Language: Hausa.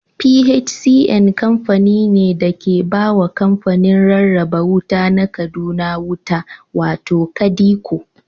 PHCN kamfani ne da ke ba wa kamfanin rarraba wuta na Kaduna wuta, wato KADECO.